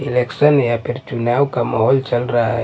Election या फिर चुनाव का माहौल चल रहा है।